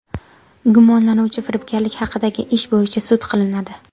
Gumonlanuvchi firibgarlik haqidagi ish bo‘yicha sud qilinadi.